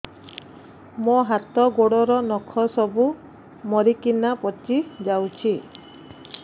ମୋ ହାତ ଗୋଡର ନଖ ସବୁ ମରିକିନା ପଚି ଯାଉଛି